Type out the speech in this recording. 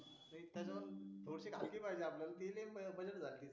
हलकी पाहिजे आपल्याला ओपन वाली